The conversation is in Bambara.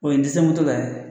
O ye n tɛ se moto la ye